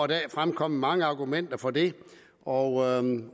dag fremkommet mange argumenter for det og